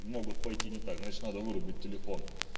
могут пойти не так значит надо вырубить телефон